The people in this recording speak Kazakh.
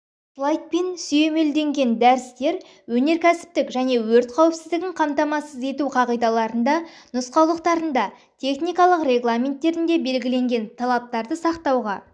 слайдпен сүйемелденген дәрістер өнеркәсіптік және өрт қауіпсіздігін қамтамасыз ету қағидаларында нұсқаулықтарында техникалық регламенттерінде белгіленген талаптарды сақтауға